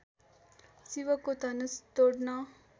शिवको धनुष तोड्न